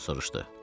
Ravino soruşdu.